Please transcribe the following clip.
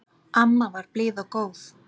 Amma var blíð og góð.